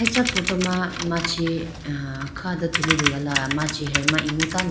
acha photo ma machi a kha do tulitegala machi he ma imu tando.